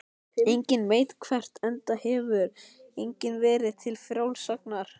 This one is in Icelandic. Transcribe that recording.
Enginn veit hvert, enda hefur enginn verið til frásagnar.